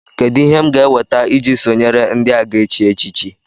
Kedụ ihe ndị m ga-eweta iji sonyere ndị a ga-echi echichi